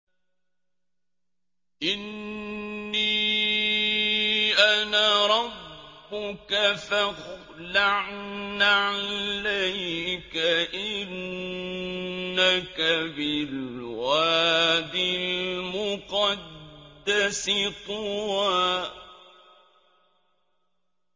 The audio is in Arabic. إِنِّي أَنَا رَبُّكَ فَاخْلَعْ نَعْلَيْكَ ۖ إِنَّكَ بِالْوَادِ الْمُقَدَّسِ طُوًى